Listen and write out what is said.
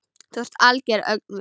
Þú ert algert öngvit!